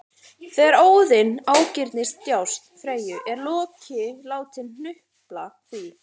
Þegar Óðinn ágirnist djásn Freyju er Loki látinn hnupla því